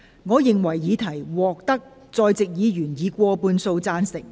我認為議題獲得在席議員以過半數贊成。